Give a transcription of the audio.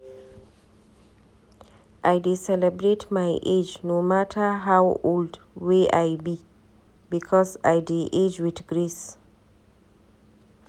I dey celebrate my age no mata how old wey I be because I dey age wit grace.